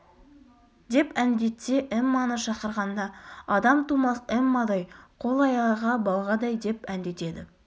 деп әндетсе эмманы шақырғанда адам тумас эммадай қол-аяғы балғадай деп әндетеді